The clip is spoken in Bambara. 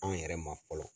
An yɛrɛ ma fɔlɔ